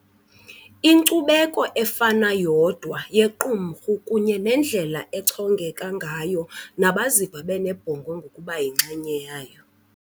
Inkcubeko efana yodwa yequmrhu kunye nendlela echongeka ngayo nabaziva benebhongo ngokuba yinxenye yayo.